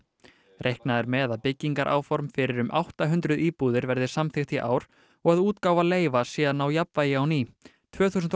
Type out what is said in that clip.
reiknað er með að byggingaráform fyrir um átta hundruð íbúðir verði samþykkt í ár og að útgáfa leyfa sé að ná jafnvægi á ný tvö þúsund og